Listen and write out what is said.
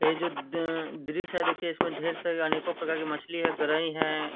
ये जो द दृश्य है देखिए इसममें ढेर सारे अनेको प्रकार के मछली है गराई है।